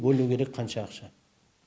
бөлу керек қанша ақша